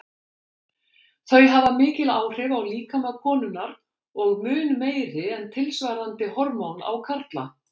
Þau hafa mikil áhrif á líkama konunnar og mun meiri en tilsvarandi hormón á karla.